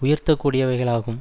உயர்த்த கூடியவைகளாகும்